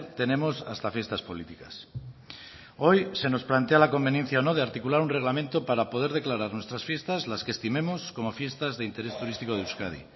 tenemos hasta fiestas políticas hoy se nos plantea la conveniencia o no de articular un reglamento para poder declarar nuestras fiestas las que estimemos como fiestas de interés turístico de euskadi